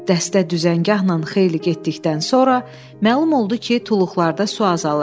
Dəstə düzəngahla xeyli getdikdən sonra məlum oldu ki, tuluqlarda su azalır.